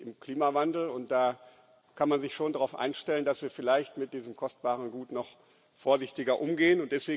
Wir sind im Klimawandel, und da kann man sich schon darauf einstellen, dass wir vielleicht mit diesem kostbaren Gut noch vorsichtiger umgehen.